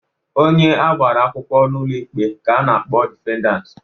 Onye agbara akwụkwọ n'ụlọ ikpe ka a na-akpọ defendant.